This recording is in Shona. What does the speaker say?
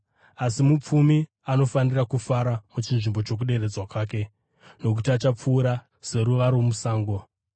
Asi mupfumi anofanira kufara muchinzvimbo chokuderedzwa kwake, nokuti achapfuura seruva romusango.